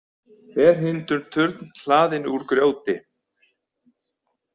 Ferhyrndur turn hlaðinn úr grjóti.